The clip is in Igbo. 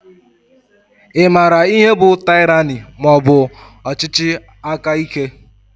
I maara ihe bụ tyrani maọbu ọchịchị aka ike?